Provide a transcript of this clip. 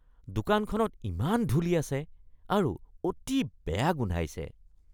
দোকানখনত ইমান ধূলি আছে আৰু অতি বেয়া গোন্ধাইছে।